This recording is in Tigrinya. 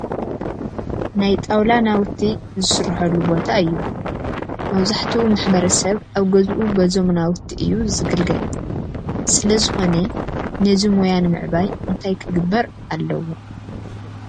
ናይ ጣውላ ናውቲ ዝስርሐሉ ቦታ እዩ፡፡ መብዛሕትኡ ማሕበረሰብ ኣብ ገዝኡ በዞም ናውቲ እዩ ዝግልገል ስለዝኾነ ነዚ ሙያ ንምዕባይ እንታይ ክግበር ኣለዎ?